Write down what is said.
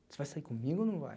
Você vai sair comigo ou não vai?